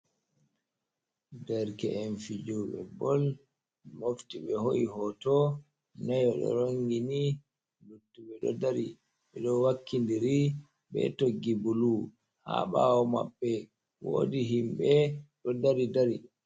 Derke’en fidebol mofti be ho’i hoto, neyo ɗo rongini luttuɓe ɗo dari ɓeɗo wakkindiri be toggi bulu ha ɓawo maɓɓe wodi himɓe ɗo dari dari.